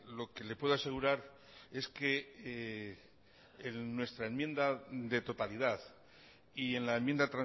lo que le puedo asegurar es que nuestra enmienda de totalidad y en la enmienda